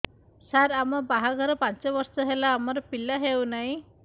ସାର ଆମ ବାହା ଘର ପାଞ୍ଚ ବର୍ଷ ହେଲା ଆମର ପିଲା ହେଉନାହିଁ